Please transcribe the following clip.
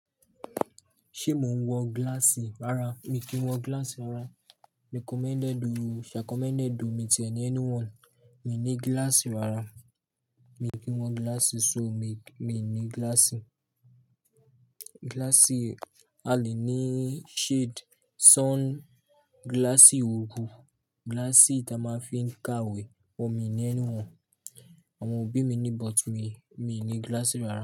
Ṣé mò ń wọ gíláàsì rárá? Mi kì í wọ gíláàsì rárá. Recommended o shacommended o mi tie ni anyone. Mi ní gíláàsì rárá. Mi kì í wọ gíláàsì so mi, mi ní gíláàsì. Gíláàsì a le ní shade, sun gíláàsì orú, gíláàsì tí a máa fí ń ka ìwé. But mi ni anyone. Àwọn òbí mi ní but mi, mi ní gíláàsì rárá.